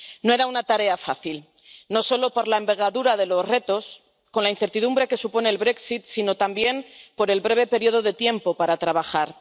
No era una tarea fácil, no solo por la envergadura de los retos, con la incertidumbre que supone el sino también por el breve periodo de tiempo para trabajar.